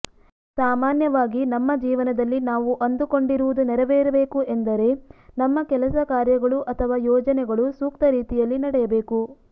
ಸಾಮಾನ್ಯವಾಗಿ ನಮ್ಮ ಜೀವನದಲ್ಲಿ ನಾವು ಅಂದುಕೊಂಡಿರುವುದು ನೆರವೇರಬೇಕು ಎಂದರೆ ನಮ್ಮ ಕೆಲಸ ಕಾರ್ಯಗಳು ಅಥವಾ ಯೋಜನೆಗಳು ಸೂಕ್ತ ರೀತಿಯಲ್ಲಿ ನಡೆಯಬೇಕು